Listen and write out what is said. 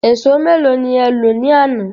Ẹ̀sọ́ méèló ni e lọ ní àná?